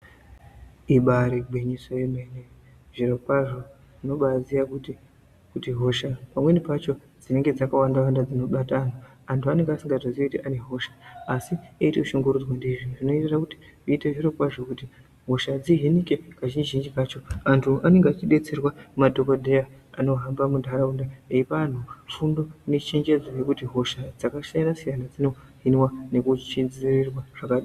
Ibari gwinyiso yemene zvirokwazvo tinobaziya kuti kutihosha pamweni pacho dzinenge dzakawanda-wanda dzinobata vantu. Antu anonga asingatoziyi kuti ane hosha, asi eitoshungurudzwa ndizvo zvinota kuti zviite zvirokwazvo kuti hosha dzihinoke kazhinji-zhinji kacho antu anenge achibetserwa ngemadhogodheya anohamba muntaraunda eipa vantu fundo nechenjedzo yekuti hosha dzakasiyana-siyana, dzinohinwa nekudzivirirwa zvakadini..